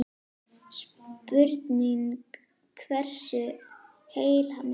Spurning hversu heill hann er?